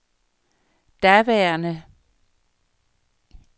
daværende